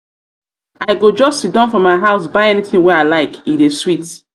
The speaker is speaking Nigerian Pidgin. i go just siddon for my house buy anytin wey i like e dey sweet.